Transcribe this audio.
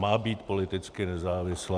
Má být politicky nezávislá.